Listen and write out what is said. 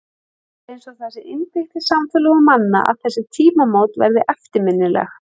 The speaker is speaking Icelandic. Það er eins og það sé innbyggt í samfélög manna að þessi tímamót verði eftirminnileg.